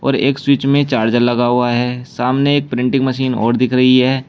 एक स्विच में चार्जर लगा हुआ है सामने एक प्रिंटिंग मशीन और दिख रही है।